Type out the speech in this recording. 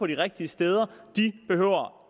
de rigtige steder